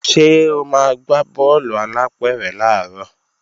Ṣé o máa gbá bọ́ọ̀lù alápẹ̀rẹ̀ làárọ̀